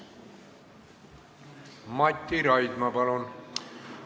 Mati Raidma, palun!